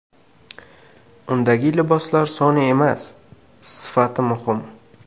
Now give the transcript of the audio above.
Undagi liboslar soni emas, sifati muhim.